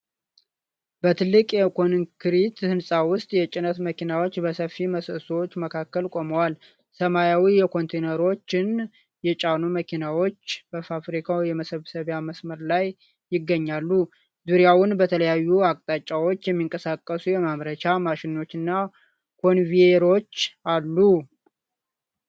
በትልቅ የኮንክሪት ሕንፃ ውስጥ፣ የጭነት መኪናዎች በሰፊ ምሰሶዎች መካከል ቆመዋል። ሰማያዊ ኮንቴይነሮችን የጫኑ መኪናዎች በፋብሪካው የመሰብሰቢያ መስመር ላይ ይገኛሉ። ዙሪያውን በተለያዩ አቅጣጫዎች የሚንቀሳቀሱ የማምረቻ ማሽኖችና ኮንቬየሮች አሉ።